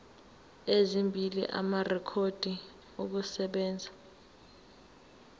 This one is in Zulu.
ezimbili amarekhodi okusebenza